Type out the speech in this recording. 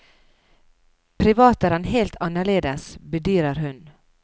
Privat er han helt annerledes, bedyrer hun.